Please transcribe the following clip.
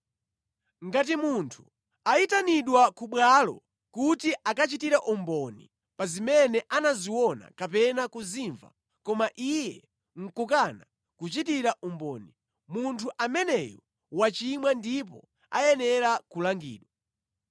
“ ‘Ngati munthu anayitanidwa ku bwalo kuti akachitire umboni pa zimene anaziona kapena kuzimva koma iye nʼkukana kuchitira umboni, munthu ameneyo wachimwa ndipo ayenera kulangidwa.